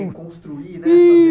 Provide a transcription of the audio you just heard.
Reconstruir, né?